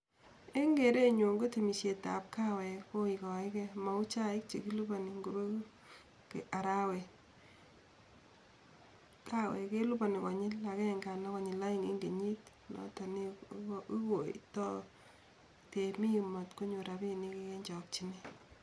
Eng kerenyun, kotemisietab kaweek, koikaike mau chaik chekilipani ngobeku arawet, kaweek kelipani konyil agenge anan konyil aeng eng kenyit, noto neiwaitoi temik matkonyor rapinik eng chokchinet.